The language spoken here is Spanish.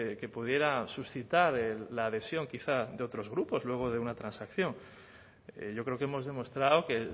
que pudiera suscitar la adhesión quizá de otros grupos luego de una transacción yo creo que hemos demostrado que